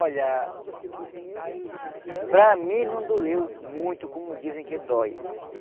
Olha... Para mim não doeu muito, como dizem que dói.